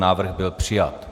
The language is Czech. Návrh byl přijat.